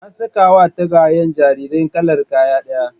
An sakawa tagwayen jariran kalar kaya ɗaya